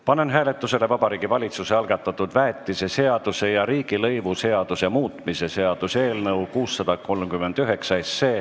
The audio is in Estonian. Panen hääletusele Vabariigi Valitsuse algatatud väetiseseaduse ja riigilõivuseaduse muutmise seaduse eelnõu 639.